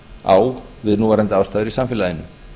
á við núverandi aðstæður í samfélaginu